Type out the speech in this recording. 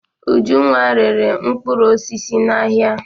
Ujunwa rere mkpụrụ osisi n'ahịa.